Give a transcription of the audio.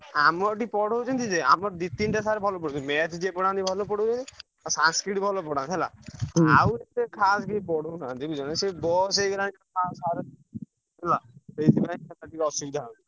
ଆମ ଏଠି ପଢଉଛନ୍ତି ଯେ ଆମର ଦି ତିନିଟା ଟା sir ଭଲ ପଢ Math ଯିଏ ପଢାନ୍ତି ଭଲ ପଢଉଛନ୍ତି ଆଉ Sanskrit ଭଲ ପଢାନ୍ତି ହେଲା ଏତେ ଖାସ୍ କିଏ ପଢଉ ନାହାନ୍ତି ସେ ବୟସ ହେଗଲାଣି ହେଲା ଅସୁବିଧା ହଉଚି।